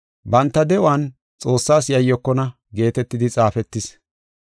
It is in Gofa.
Banta de7uwan Xoossaas yayyokonna” geetetidi xaafetis.